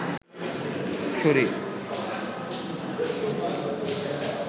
শরীর